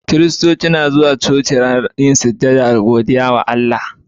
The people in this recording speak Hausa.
Kiristoci suna zuwa coci don yin sujada da godiya ga Allah.